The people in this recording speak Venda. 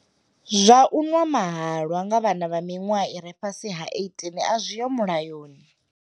Zwa u nwa mahalwa nga vhana vha miṅwaha i re fhasi ha 18 a zwiho mulayoni.